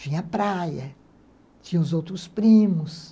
Tinha a praia, tinha os outros primos.